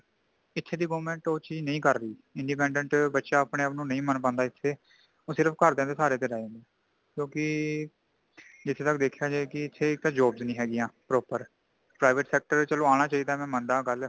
ਏਥੇ ਦੀ government ਉਹ ਚੀਜ਼ ਨਹੀਂ ਕਰ ਰਹੀ ,independent ਬੱਚਾ ਆਪਣੇ ਆਪ ਨੂੰ ਨਹੀਂ ਮਨ ਪਾਂਦਾ ਇੱਥੇ ਉਹ ਫਿਰ ਘਰ ਦੇ ਸਹਾਰੇ ਤੇ ਰਹਿੰ ਜਾਂਦਾ ਹੈ ਕਿਉਂਕਿ ਜਿਥੇ ਤੱਕ ਦੇਖਿਆ ਜਾਏ ਇਕ ਇਥੇ jobs ਨਹੀ ਹੇਗੀਆਂ proper private sector ਚੱਲੋ ਆਂਨਾ ਚਾਹੀਂਦਾ ਮੈ ਮੰਨਦਾ ਹਾਂ ਗੱਲ